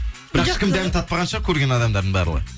бірақ ешкім дәмін татпаған шығар көрген адамдардың барлығы